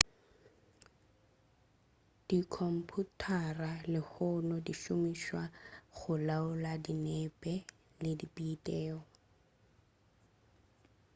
dikhomphuthara lehono di šomišwa go laola dinepe le dibiteo